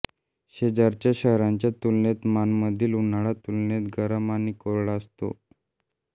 शेजारच्या शहरांच्या तुलनेत माणमधील उन्हाळा तुलनेने गरम आणि कोरडा असतो